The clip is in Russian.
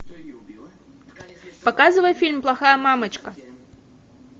показывай фильм плохая мамочка